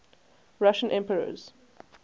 russian emperors